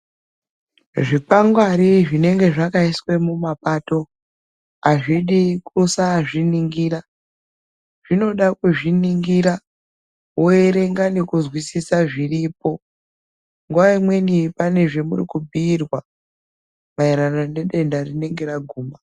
Zvikwangwari zvinenga zvakaiswa muma pato azvidi kusa zviningira zvinoda ku zvingira wo erenga neku nzwisisa zviripo nguva imweni pane zvamuri ku bhiirwa ma erererano ne denda rinenge ra guma.